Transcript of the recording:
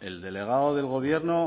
el delegado de gobierno